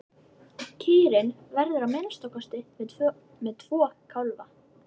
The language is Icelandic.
Kýrin verður að minnsta kosti með tvo kálfa.